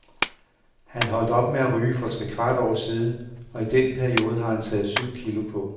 Han holdt op med at ryge for trekvart år siden, og i den periode har han taget syv kg på.